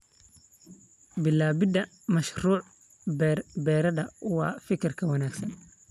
Bilaabidda mashruuc beer-beereed waa fikrad wanaagsan.